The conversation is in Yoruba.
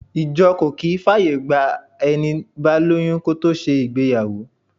Ìjọ kò kì í fàyègba ẹni bá lóyún kó tó ṣe ìgbéyàwó.